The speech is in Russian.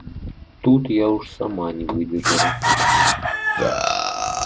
тут я уж сама не выдержала